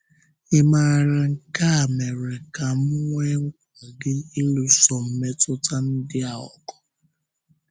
“Ịmàrà nke a mere ka m nwee nkwáli ịlụso mmetụta ndị a ọgụ.”